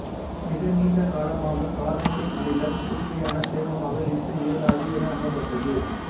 மிக நீண்ட காலமாக கார்போனிக் அமிலம் தூய்மையான சேர்மமாக இருக்க இயலாது என நம்பப்பட்டது